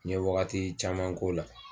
N ye wagati caman k'o la.